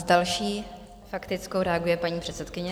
S další faktickou reaguje paní předsedkyně.